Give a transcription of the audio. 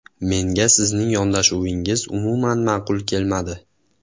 Menga sizning yondashuvingiz umuman ma’qul kelmadi.